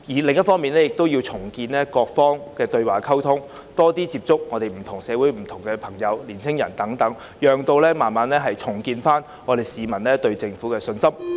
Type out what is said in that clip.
另一方面，政府亦要重建各方的對話和溝通，多接觸社會上不同人士特別是年青人，逐漸重建市民對政府的信心。